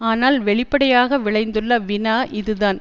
ஆனால் வெளிப்படையாக விளைந்துள்ள வினா இதுதான்